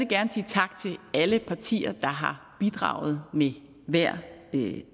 gerne sige tak til alle partier der har bidraget med hver